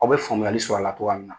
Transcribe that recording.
Aw bɛ faamuyali sɔrɔ a la cogoya min na.